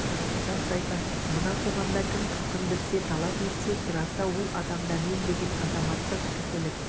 рас айтасыз мына қоғамда кім хақын білсе талап етсе сұраса ол адамда мен деген азаматтық кісілік